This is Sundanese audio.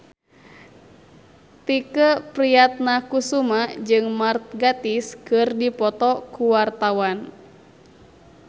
Tike Priatnakusuma jeung Mark Gatiss keur dipoto ku wartawan